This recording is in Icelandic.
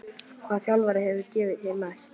Hvaða þjálfari hefur gefið þér mest?